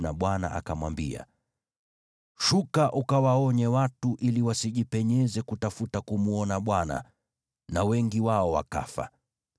naye Bwana akamwambia Mose, “Shuka ukawaonye watu ili wasijipenyeze kutafuta kumwona Bwana na wengi wao wakafa.